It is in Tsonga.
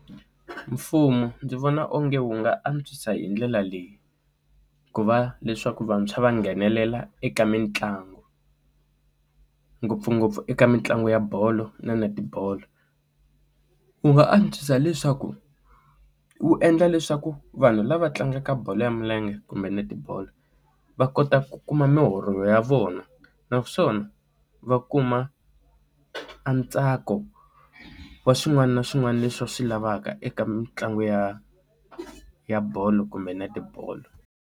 Mfumo ndzi vona onge wu nga antswisa hi ndlela leyi ku va leswaku vantshwa va nghenelela eka mitlangu ngopfungopfu eka mitlangu ya bolo na netibolo u nga antswisa leswaku wu endla leswaku vanhu lava tlangaka bolo ya milenge kumbe netibolo va kota ku kuma muholo ya vona naswona va kuma a ntsako wa swin'wana na swin'wana leswi va swi lavaka eka mitlangu ya ya bolo kumbe netibolo.